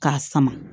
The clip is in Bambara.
K'a sama